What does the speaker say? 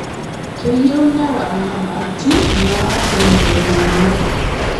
Keyieu newal nyamalaritin naatumito ltung'ana